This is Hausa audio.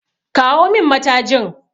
Kawo min matajin!